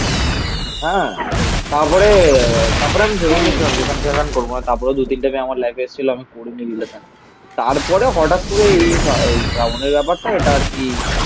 হ্যাঁ. তারপরে তারপরে আমি ভেবে নিয়েছিলাম যেখান থেকে করবো না. তারপরে দু তিনটে মেয়ে আমার লাইফে এসছিল. আমি করিনি রিলেশান. তারপরে হঠাৎ করে এই এই শ্রাবনির ব্যাপারটা এটা আর কি